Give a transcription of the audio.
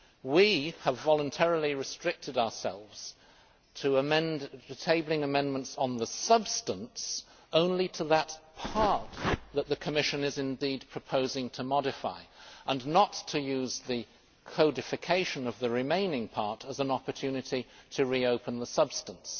We have voluntarily restricted ourselves to tabling amendments of substance only to the part that the Commission is proposing to modify, and not to use the codification of the remaining part as an opportunity to reopen the substance.